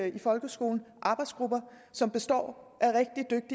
i folkeskolen arbejdsgrupper som består